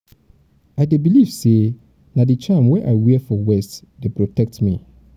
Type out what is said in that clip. i dey believe sey na di charm wey i wear for waist dey protect protect me.